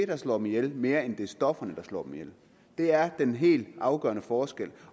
der slår dem ihjel mere end det er stofferne der slår dem ihjel det er den helt afgørende forskel